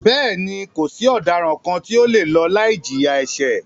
Bẹ́ẹ̀ni, kò sí ọ̀daràn kàn tí o le lọ láì jìyà ẹ̀ṣẹ̀.